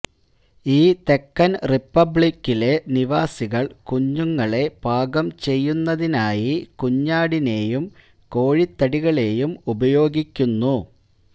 ഈ തെക്കൻ റിപ്പബ്ലിക്കിലെ നിവാസികൾ കുഞ്ഞുങ്ങളെ പാചകം ചെയ്യുന്നതിനായി കുഞ്ഞാടിനെയും കോഴിത്തടികളെയും ഉപയോഗിക്കുന്നു